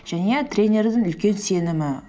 және тренердің үлкен сенімі